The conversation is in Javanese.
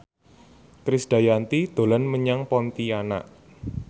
Krisdayanti dolan menyang Pontianak